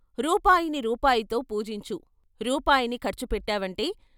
రూపాయిని రూపాయితో పూజించు రూపాయిని ఖర్చు పెట్టావంటే.